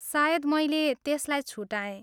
सायद मैले त्यसलाई छुटाएँ।